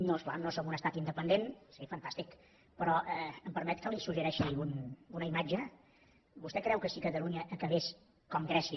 no és clar no som un estat independent seria fantàstic però em permet que li suggereixi una imatge vostè creu que si catalunya acabés com grècia